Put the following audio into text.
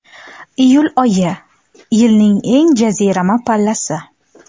Iyul oyi... Yilning eng jazirama pallasi.